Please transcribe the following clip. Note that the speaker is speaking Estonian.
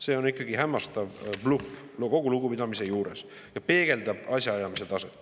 See on ikka hämmastav bluff, kogu lugupidamise juures, ja peegeldab asjaajamise taset.